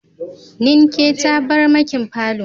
Ninke tabarmakin falo.